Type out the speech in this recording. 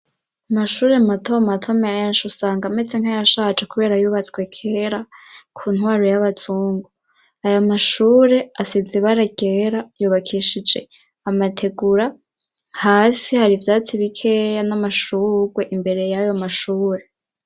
Amashuri matomato menshi usanga metse nkayashace kubera yubatswe kera ku ntwaro y'abazungu ayo mashure asizibaragera yubakishije amategura hasi hari byatsi bikeya n'amashurugwe imbere y'yo mashure.